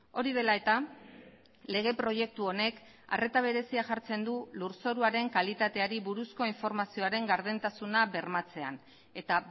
hori dela eta lege proiektu honek arreta berezia jartzen du lurzoruaren kalitateari buruzko informazioaren gardentasuna bermatzean eta